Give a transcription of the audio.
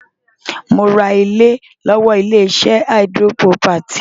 Mo ra ilẹ̀ lọ́wọ́ ilé-iṣẹ́ Adron Property.